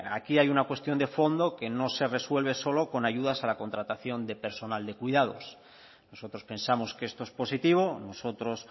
aquí hay una cuestión de fondo que no se resuelve solo con ayudas a la contratación de personal de cuidados nosotros pensamos que esto es positivo nosotros